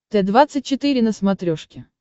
т двадцать четыре на смотрешке